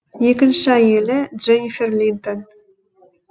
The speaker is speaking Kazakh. екінші әйелі дженнифер линтон